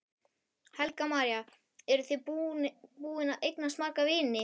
Helga María: Eru þið búin að eignast marga vini?